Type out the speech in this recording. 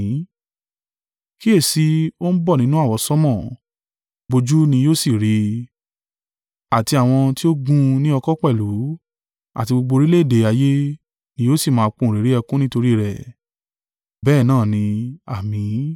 “Kíyèsi i, o ń bọ̀ nínú àwọsánmọ̀, gbogbo ojú ni yóò sì rí i, àti àwọn tí ó gún un ní ọ̀kọ̀ pẹ̀lú”; àti gbogbo orílẹ̀-èdè ayé ni “yóò sì máa pohùnréré ẹkún nítorí rẹ̀.”